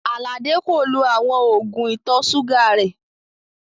Aládé kò lọ̀ awọn oogun ìtọ̀ sugà rè